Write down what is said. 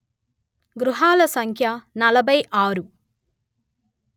గృహాల సంఖ్య నలభై ఆరు